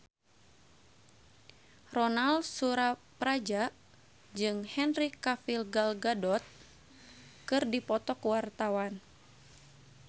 Ronal Surapradja jeung Henry Cavill Gal Gadot keur dipoto ku wartawan